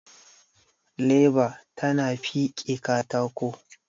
leba tana fike katako